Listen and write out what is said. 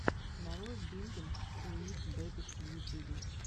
нарой бингинг уив бэбиш в ютюбе